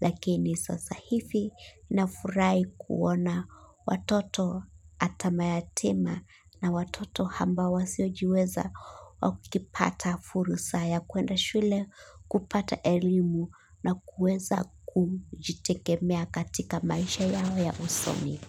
Lakini sasa hivi nafurahi kuona watoto hata mayatima na watoto ambao wasiojiweza wakipata furusa ya kuenda shule kupata elimu na kuweza kujitegemea katika maisha yao ya usomi.